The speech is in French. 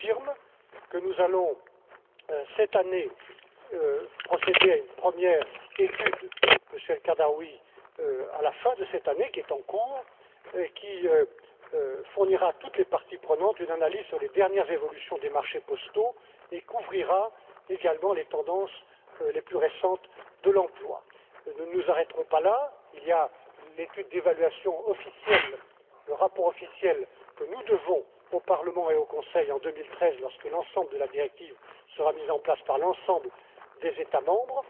Je confirme que nous allons, cette année, procéder à une première étude Monsieur El Khadraoui, à la fin de cette année en cours qui fournira à toutes les parties prenantes une analyse sur les dernières évolutions des marchés postaux et couvrira également les tendances les plus récentes de l'emploi. Nous ne nous arrêterons pas là il y a le rapport officiel que nous devons présenter au Parlement et au Conseil en 2013, lorsque l'ensemble de la directive sera mis en place par l'ensemble des États membres.